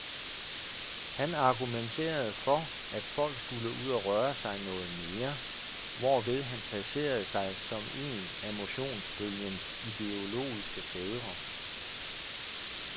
Han argumenterede for, at folk skulle ud at røre sig noget mere, hvorved han placerede sig som en af motionsbølgens ideologiske fædre.